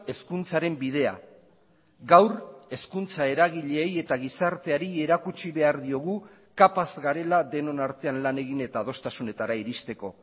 hezkuntzaren bidea gaur hezkuntza eragileei eta gizarteari erakutsi behar diogu kapaz garela denon artean lan egin eta adostasunetara iristeko